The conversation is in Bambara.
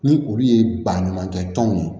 Ni olu ye baɲumankɛ tɔnw ye